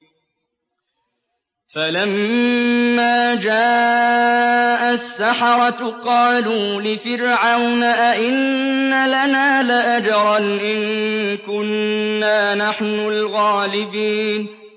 فَلَمَّا جَاءَ السَّحَرَةُ قَالُوا لِفِرْعَوْنَ أَئِنَّ لَنَا لَأَجْرًا إِن كُنَّا نَحْنُ الْغَالِبِينَ